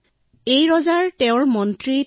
আমাৰ ৰজাজন অতিশয় গুণৱান আছিল